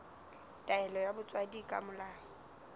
taelo ya botswadi ka molao